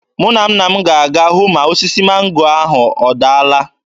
Mụ na nne m ga-aga hụ ma osisi mango ahụ ọdaala.